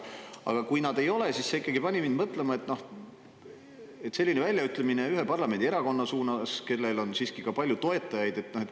Aga kui nad ei ole, siis see pani mind mõtlema, selline väljaütlemine ühe parlamendierakonna suunas, kellel on siiski palju toetajaid.